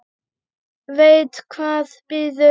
Veit hvað bíður.